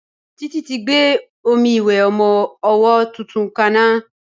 Títí tí gbé omi ìwẹ̀ ọmọ ọwọ́ tuntun ka ná.